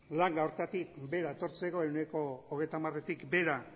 hartatik behera